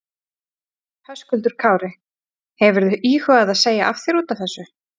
Höskuldur Kári: Hefurðu íhugað að segja af þér útaf þessu?